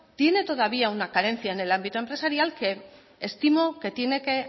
tiene todavía una carencia en el ámbito empresarial que estimo que tiene que